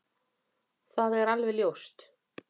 Það er alveg ljóst